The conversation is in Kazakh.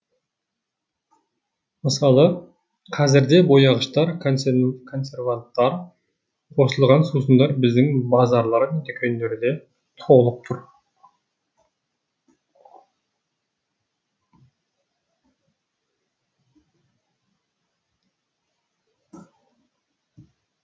мысалы қазірде бояғыштар консерванттар қосылған сусындар біздің базарлар мен дүкендерде толып тұр